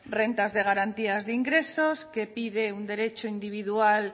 rentas de garantías de ingresos que pide un derecho individual